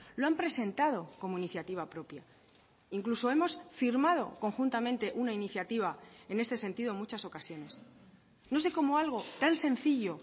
lo han presentado como iniciativa propia incluso hemos firmado conjuntamente una iniciativa en ese sentido en muchas ocasiones no sé como algo tan sencillo